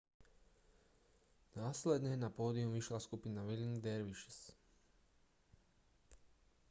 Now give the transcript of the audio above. následne na pódium vyšla skupina whirling dervishes